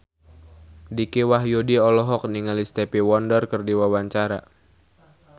Dicky Wahyudi olohok ningali Stevie Wonder keur diwawancara